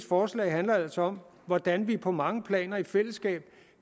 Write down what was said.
forslag handler altså om hvordan vi på mange planer i fællesskab